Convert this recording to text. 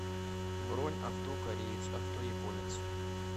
бронь авто кореец авто японец